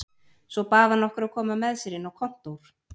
Svo bað hann okkur að koma með sér inn á kontór.